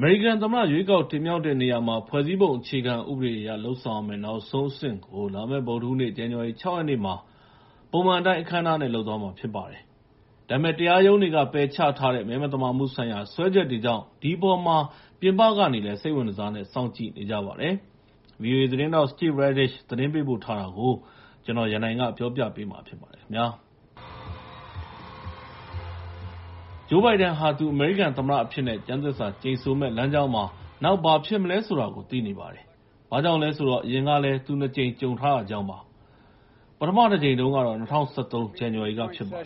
မေရိကန်သမ္မတ ရွေးကောက်တင်မြှောက်တဲ့နေရာမှာ ဖွဲ့စည်းပုံအခြေခံဥပဒေအရ လုပ်ဆောင်ရမယ့် နောက်ဆုံးအဆင့်ကို လာမယ့် ဗုဒ္ဓဟူးနေ့ ဇန်နဝါရီ ၆ ရက်နေ့မှာ ပုံမှန်အတိုင်း အခမ်းအနားနဲ့ လုပ်သွားမှာဖြစ်ပါတယ်။ ဒါပေမယ့် မဲမသမာမှုတွေ ရှိတယ်ဆိုတဲ့ စွဲချက်တွေကို တရားရုံးက ပယ်ချထားတာကြောင့် ဒီအပေါ်မှာ ပြင်ပကနေလည်း စိတ်ဝင်တစားနဲ့ စောင့်ကြည့်နေကြပါတယ်။ ဗွီအိုအေသတင်းထောက် Steve Redish သတင်းပေးပို့ထားတာကို ကိုရန်နိုင် တင်ပြပေးထားပါတယ်။ Joe Biden ဟာ သူ အမေရိကန်သမ္မတအဖြစ်နဲ့ ကျမ်းသစ္စာကျိန်ဆိုမယ့် လမ်းကြောင်းမှာ နောက် ဘာဖြစ်မလဲဆိုတာကို သိနေပါတယ်။ ဘာကြောင့်လဲဆိုတော့ အရင်ကလည်း သူ ၂ ကြိမ် ကြုံထားတာကြောင့်ပါ။ ပထမတကြိမ်ကတော့ ၂၀၁၃ ဇန်နဝါရီက ဖြစ်ပါတယ်။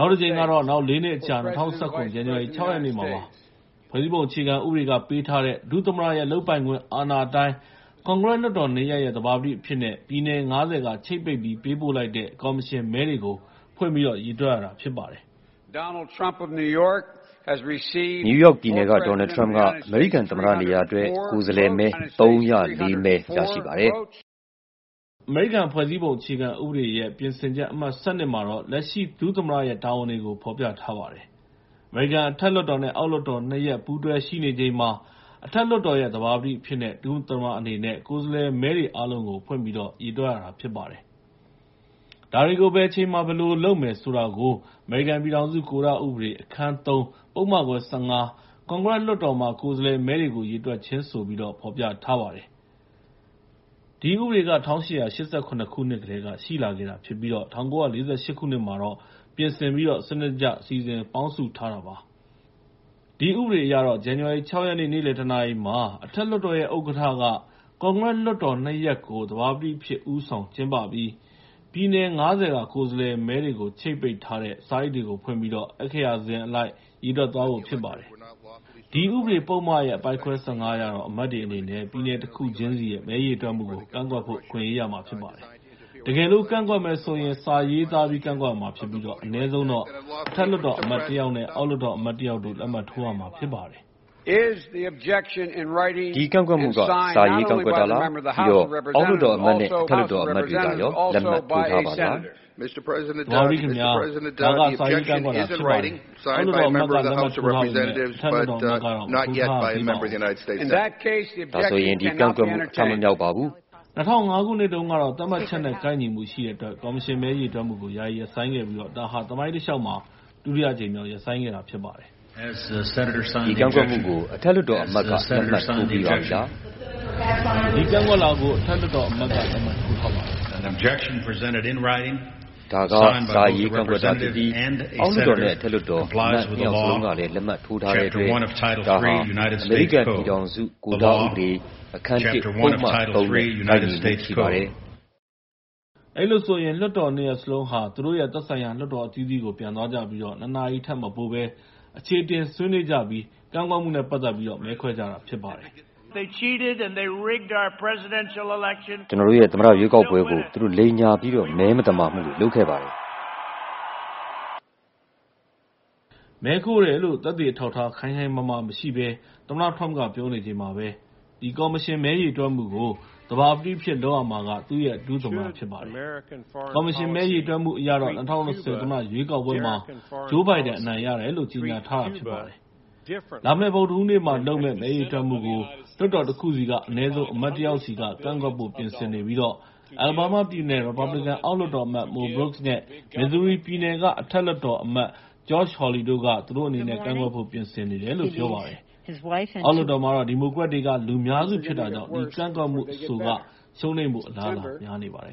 နောက်တကြိမ်ကတော့ နောက် ၄ နှစ်အကြာ ၂၀၁၇ ဇန်နဝါရီလ ၆ ရက်နေ့မှာ ဖြစ်ပါတယ်။ ဖွဲ့စည်းပုံအခြေခံဥပဒေက ပေးထားတဲ့ ဒုသမ္မတရဲ့ လုပ်ပိုင်ခွင့်အာဏာအတိုင်း ကွန်ဂရက်လွှတ်တော် ၂ ရပ်ရဲ့ သဘာပတိအဖြစ်နဲ့ ပြည်နယ် ၅၀ က ချိတ်ပိတ်ပြီး ပေးပို့လိုက်တဲ့ ကော်မရှင်မဲတွေကို ဖွင့်ပြီး ရေတွက်ရတာဖြစ်ပါတယ်။ “နယူးယောက်ပြည်နယ်က Donald Trump က အမေရိကန်သမ္မတနေရာအတွက် ကိုယ်စားလှယ်မဲ ၃၀၄ မဲ ရရှိပါတယ်။” အမေရိကန်ဖွဲ့စည်းပုံအခြေခံဥပဒေရဲ့ ပြင်ဆင်ချက် အမှတ် ၁၂ မှာတော့ လက်ရှိဒုသမ္မတရဲ့ တာဝန်တွေကို ဖော်ပြထားပါတယ်။ အမေရိကန် အထက်လွှတ်တော်နဲ့ အောက်လွှတ်တော် ၂ ရပ် ပူးတွဲရှိနေချိန်မှာ အထက်လွှတ်တော်ရဲ့ သဘာပတိအဖြစ်ရှိနေတဲ့ ဒု-သမ္မတအနေနဲ့ ကိုယ်စားလှယ်မဲတွေ အားလုံးကို ဖွင့်ပြီးတော့ ရေတွက်ရတာ ဖြစ်ပါတယ်။ ဒါတွေကို ဘယ်အချိန်မှာ ဘယ်လိုလုပ်မယ်ဆိုတာကို အမေရိကန်ပြည်ထောင်စု ကိုဓဥပဒေ အခန်း ၃ ပုဒ်မခွဲ ၁၅ ကွန်ဂရက်လွှတ်တော်မှာ ကိုယ်စားလှယ်မဲတွေကို ရေတွက်ခြင်းဆိုပြီး ဖော်ပြထားပါတယ်။ ဒီဥပဒေက ၁၈၈၇ ခုနှစ်ကတည်းက ရှိလာခဲ့တာဖြစ်ပြီး ၁၉၄၈ မှာ ပြင်ဆင်ပြီးတော့ စနစ်တကျ စီစဉ်ပေါင်းစုထားတာ ဖြစ်ပါတယ်။ ဒီဥပဒေအရ ဇန်နဝါရီ ၆ ရက်နေ့ နေ့လယ် ၁ နာရီမှာ အထက်လွှတ်တော်ရဲ့ ဥက္ကဋ္ဌက ကွန်ဂရက်လွှတ်တော် ၂ ရပ်ကို သဘာပတိအဖြစ် ဦးဆောင်ကျင်းပပြီး ပြည်နယ် ၅၀ က ကိုယ်စားလှယ်မဲတွေ ချိတ်ပိတ်ထားတဲ့ စာအိတ်တွေကို ဖွင့်ပြီး အက္ခရာစဉ်အလိုက် ရေတွက်သွားဖို့ ဖြစ်ပါတယ်။ အဲဒီဥပဒေပုဒ်မ အပိုဒ်ခွဲ ၁၅ အရတော့ အဖွဲ့ဝင်တွေအနေနဲ့ ပြည်နယ်တခုချင်းစီရဲ့ မဲရေတွက်မှုကို ကန့်ကွက်ဖို့ အခွင့်အရေးရမှာ ဖြစ်ပါတယ်။ တကယ်လို့ ကန့်ကွက်မယ်ဆိုရင် စာရေးသားပြီး ကန့်ကွက်ရမှာဖြစ်ပြီး အနည်းဆုံးတော့ အထက်လွှတ်တော်အမတ်တယောက်နဲ့ အောက်လွှတ်တော်အမတ်တယောက်တို့ လက်မှတ်ထိုးရမှာ ဖြစ်ပါတယ်။ Joe Biden - “ဒီကန့်ကွက်မှုက စာရေးကန့်ကွက်တာလား? ပြီးတော့ အောက်လွှတ်တော်အမတ်နဲ့ အထက်လွှတ်တော်အမတ်တွေကရော လက်မှတ်ထိုးထားပါသလား။” House Member - “သဘာပတိခင်ဗျား၊ ဒါက စာရေးကန့်ကွက်တာ ဖြစ်ပါတယ်။ အောက်လွှတ်တော်အမတ်က လက်မှတ်ထိုးထားပေမယ့် အထက်လွှတ်တော်အမတ်ကတော့ မထိုးထားရသေးပါဘူး။” Joe Biden - “ဒါဆိုရင် ဒီကန့်ကွက်မှု အထမမြောက်ပါဘူး။” ၂၀၀၅ ခုနှစ်တုန်းကတော့ သတ်မှတ်ချက်နဲ့ ကိုက်ညီမှုရှိတဲ့အတွက် ကော်မရှင်မဲ ရေတွက်မှုကို ယာယီရပ်ဆိုင်းလိုက်ပြီး ဒါဟာ သမိုင်းတလျှောက်မှာ ဒုတိယအကြိမ်မြောက် ရပ်ဆိုင်းခဲ့တာဖြစ်ပါတယ်။ Cheney - “ဒီကန့်ကွက်မှုကို အထက်လွှတ်တော်အမတ်က လက်မှတ်ထိုးပြီးပြီလား။” Tubbs - “ဒီကန့်ကွက်လွှာကို အထက်လွှတ်တော်အမတ်က လက်မှတ်ထိုးထားပါတယ်။” Cheney - “ဒါက စာရေးကန့်ကွက်တာဖြစ်ပြီး အောက်လွှတ်တော်နဲ့ အထက်လွှတ်တော်အမတ် ၂ ယောက်စလုံးကလည်း လက်မှတ်ထိုးထားတဲ့အတွက် ဒါက အမေရိကန်ပြည်ထောင်စု ကိုဓဥပဒေ အခန်း ၁ ပုဒ်မ ၃ နဲ့ ကိုက်ညီမှုရှိပါတယ်။” အဲဒီလိုဆိုရင် လွှတ်တော် ၂ ရပ်စလုံးဟာ သူတို့ရဲ့ သက်ဆိုင်ရာ လွှတ်တော်အသီးသီးကို ပြန်သွားကြပြီး ၂ နာရီထက်မပိုဘဲ အချေအတင် ဆွေးနွေးကြပြီး ကန့်ကွက်မှုနဲ့ပတ်သက်ပြီး မဲခွဲကြတာဖြစ်ပါတယ်။ အမေရိကန်သမ္မတ Donald Trump က “ကျနော်တို့ရဲ့သမ္မတရွေးကောက်ပွဲကို သူတို့ လိမ်ညာပြီးတော့ မဲမသမာမှုတွေ လုပ်ခဲ့ပါတယ်။” လို့ ပြောပါတယ်။ မဲခိုးတယ်လို့ သက်သေအထောက်အထား ခိုင်ခိုင်မာမာမရှိဘဲ သမ္မတ Trump က ပြောနေချိန်မှာပဲ ဒီ ကော်မရှင်မဲ ရေတွက်မှုကို သဘာပတိအဖြစ် လုပ်ရမှာက သူ့ရဲ့ ဒု-သမ္မတ ဖြစ်ပါတယ်။ ကော်မရှင်မဲ ရေတွက်မှုအရတော့ ၂၀၂၀ သမ္မတရွေးကောက်ပွဲမှာ Joe Biden အနိုင်ရတယ်လို့ ကြေညာထားတာ ဖြစ်ပါတယ်။ လာမယ့် ဗုဒ္ဓဟူးနေ့မှာလုပ်မယ့် မဲရေတွက်မှုကိုတော့ လွှတ်တော်တခုဆီက အနည်းဆုံး အမတ် ၁ ယောက်စီက ကန့်ကွက်ဖို့ ပြင်ဆင်နေပြီး အလာဘားမားပြည်နယ် ရီပတ်ဘလစ်ကန် အောက်လွှတ်တော်အမတ် Mo Brooks နဲ့ မစ်ဇူရီပြည်နယ်က အထက်လွှတ်တော်အမတ် Josh Hawley တို့က သူတို့အနေနဲ့ ကန့်ကွက်ဖို့ ပြင်ဆင်နေတယ်လို့ ပြောပါတယ်။ အောက်လွှတ်တော်မှာတော့ ဒီမိုကရက်တွေက လူများစုဖြစ်တာကြောင့် အဲဒီကန့်ကွက်မှု အဆိုကတော့ ရှုံးနိမ့်ဖို့ အလားအလာ များနေပါတယ်